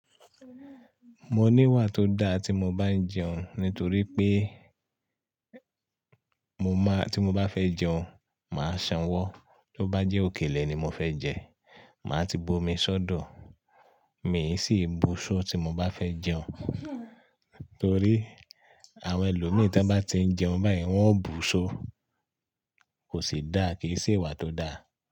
Mo ní ìwà tó da tí mo bá ń jẹun nítorí pé mo mọ́ tí mo bá fẹ́ jẹun, màá sanwó. Tí ó bá jẹ́ òkèlè ni mo fẹ́ jẹ, màá ti b’omi sọ́dọ̀. Mí sì ń bu'ṣó tí mo bá fẹ́ jẹun. Nítorí àwọn ẹlòmíràn tí wọ́n bá ti ń jẹun báyìí, wọ́n ó bu'ṣó. Kò sì dáa, kì í sì ìwà tó da.